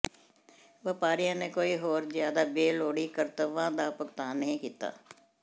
ਵਪਾਰੀਆਂ ਨੇ ਕੋਈ ਹੋਰ ਜ਼ਿਆਦਾ ਬੇਲੋੜੀ ਕਰਤੱਵਾਂ ਦਾ ਭੁਗਤਾਨ ਨਹੀਂ ਕੀਤਾ